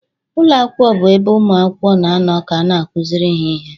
Ụlọ akwụkwọ bụ ebe ụmụ akwụkwọ na-anọ ka a na-akụziri ha ihe